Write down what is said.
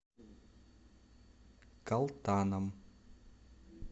калтаном